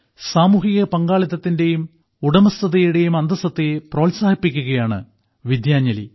സാമൂഹിക പങ്കാളിത്തത്തിന്റെയും ഉടമസ്ഥതയുടെയും അന്തസത്തയെ പ്രോത്സാഹിപ്പിക്കുകയാണ് വിദ്യാഞ്ജലി